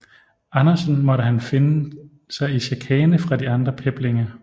Andersen måtte han finde sig i chikane fra de andre peblinge